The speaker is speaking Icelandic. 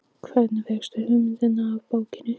Hvernig fékkstu hugmyndina af bókinni?